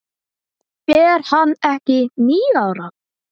Er hann ekki níu ára?